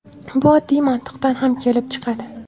Bu oddiy mantiqdan ham kelib chiqadi.